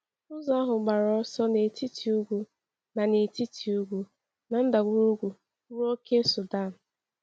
Ụzọ ahụ gbara ọsọ n’etiti ugwu na n’etiti ugwu na ndagwurugwu ruo ókè Sudan.